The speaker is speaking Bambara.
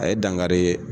A ye dankari